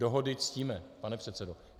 Dohody ctíme, pane předsedo.